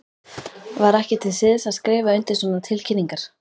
Var ekki til siðs að skrifa undir svona tilkynningar?